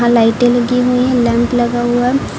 लाइटें लगी हुई हैं लैंप लगा हुआ है।